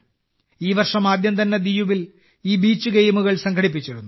ഈ വർഷം ആദ്യം തന്നെ ദിയുവിൽ ഈ ബീച്ച് ഗെയിമുകൾ സംഘടിപ്പിച്ചിരുന്നു